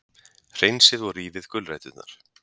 Hreinsið og rífið gulræturnar.